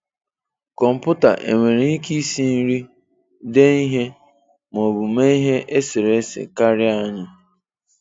Kọmputa enwere ike isi nri, dee ihe ma ọ bụ mee ihe eserese karịa anyị?